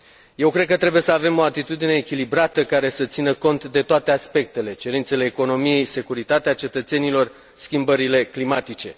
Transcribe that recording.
Eu cred că trebuie să avem o atitudine echilibrată, care să țină cont de toate aspectele cerințele economiei, securitatea cetățenilor, schimbările climatice.